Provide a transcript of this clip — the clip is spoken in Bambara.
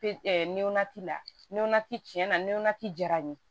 Pe nɔnnati la nɔnna tiɲɛna jara n ye